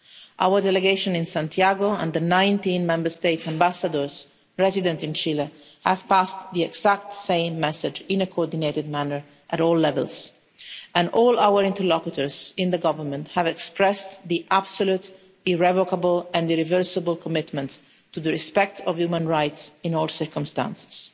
Our delegation in Santiago and the 19 Member States' Ambassadors resident in Chile have passed exactly the same message, in a coordinated manner, at all levels and all our interlocutors in the government have expressed their absolute, irrevocable and irreversible commitment to respect for human rights in all circumstances.